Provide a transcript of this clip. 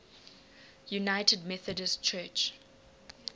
united methodist church